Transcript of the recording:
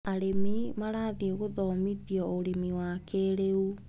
Arĩmi marathĩi gũthomithio ũrĩmi wa kĩrĩu.